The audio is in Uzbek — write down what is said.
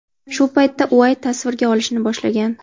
Shu paytda Uayt tasvirga olishni boshlagan.